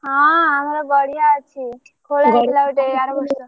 ହଁ ଆମର ଗଡିଆ ଅଛି ଖୋଳା ହେଇଥିଲା ଗୋଟେ ଆରବର୍ଷ ର।